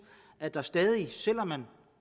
at der stadig selv om man